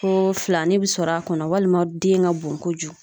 Ko filanin bɛ sɔrɔ a kɔnɔ , walima den ka bon kojugu.